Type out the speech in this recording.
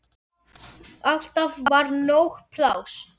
Alltaf var nóg pláss.